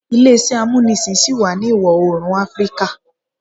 Ile-iṣẹ amunisin ṣi wa ni Iwọ-oorun Afirika